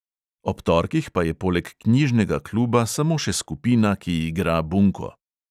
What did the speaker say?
Ob torkih pa je poleg knjižnega kluba samo še skupina, ki igra bunko.